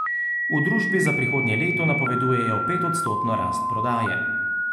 V družbi za prihodnje leto napovedujejo petodstotno rast prodaje.